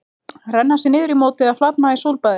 Renna sér niður í móti eða flatmaga í sólbaði?